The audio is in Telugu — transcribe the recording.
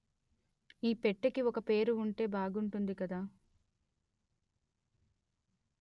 ఈ పెట్టెకి ఒక పేరు ఉంటే బాగుంటుంది కదా